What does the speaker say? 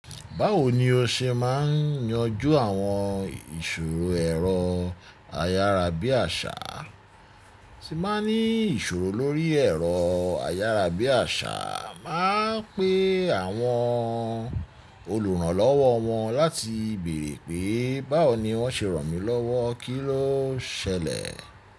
Báwo ni o ṣe máa ń yanjú àwọn ìṣòro ẹ̀rọ ayárabíàṣà? Tíì máa ń ní ìṣòro lórí ẹ̀rọ ayárabíàṣà, màá pè àwọn olùrànlọ́wọ́ wọn láti bèèrè pé báwo ni wọ́n ṣe ràn mí lọ́wọ́, kí ló ṣẹlẹ̀?